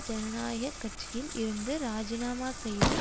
ஜனநாயக கட்சியில் இருந்து இராஜிநாமா செய்து